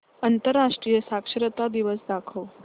आंतरराष्ट्रीय साक्षरता दिवस दाखवच